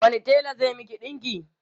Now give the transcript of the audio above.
wani tela zai Miki ɗinki?